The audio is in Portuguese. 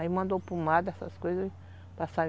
Aí mandou pomada, essas coisas.